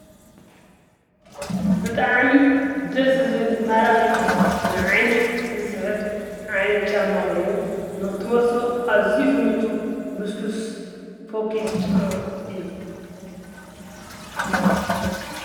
ብጣዕሚ ደስ ዝብል ማራኺ ንዓይኒ ዝስሕብ ዓይነት ጫማ ኮይኑ ንኽትመልሶ ኣዝዩ ዝምቹ ልስሉስ ፎኪስ ጫማ እዩ።